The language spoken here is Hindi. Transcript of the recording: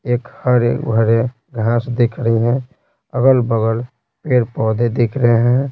एक हरे भरे घास दिख रही हैं अगल-बगल पेड़ पौधे दिख रहे हैं।